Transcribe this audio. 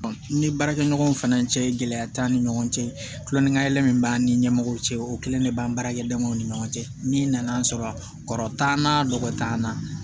N ni baarakɛ ɲɔgɔnw fana cɛ gɛlɛya t'an ni ɲɔgɔn cɛ kulon ni ka yɛlɛ min b'an ni ɲɛmɔgɔw cɛ o kelen de b'an baarakɛ damaw ni ɲɔgɔn cɛ n'i nan'a sɔrɔ kɔrɔ t'an na nɔgɔ t'an na